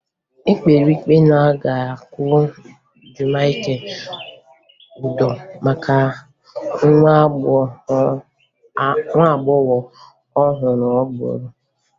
E kpere ikpe na a ga-akwụ Jamike ụdọ maka nwa agbọghọ ahụ o gburu